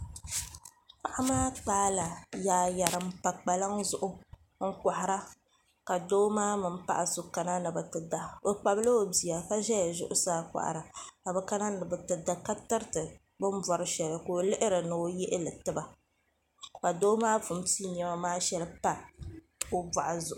paɣ' maa kpa yaayari n pa kpaŋa zuɣ' n kohira ka do maa mini paɣ' so ka ni be ti da o kpabila o bia ka ʒɛya zuɣ' saa kohira ka be kana ni be ti da ka tɛritɛ bɛn bori shɛli ko o lihiri ni o yɛhili tiba ka do maa puni pɛɛ nɛma maa shɛli n pa o buɣ' zuɣ'